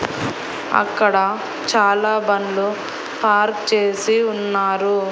అక్కడ చాలా బండ్లు పార్క్ చేసి ఉన్నారు.